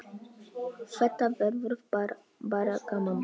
Þetta verður bara gaman.